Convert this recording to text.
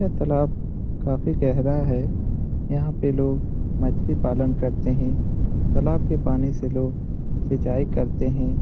ये तालाब काफ़ी गहरा है | यहाँ पे लोग मछली पालन करते है | तालाब के पानी से लोग सिचांई करते है ।